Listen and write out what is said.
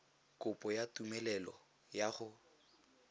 kopo ya tumelelo ya go